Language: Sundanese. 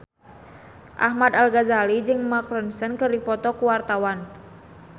Ahmad Al-Ghazali jeung Mark Ronson keur dipoto ku wartawan